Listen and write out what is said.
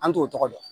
An t'o tɔgɔ dɔn